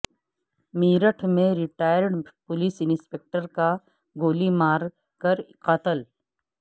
میرٹھ میں retired police inspector کا گولی مار کر قتل